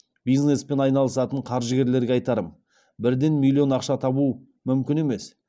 бизнеспен айналысатын қаржыгерлерге айтарым бірден миллион ақша табу мүмкін емес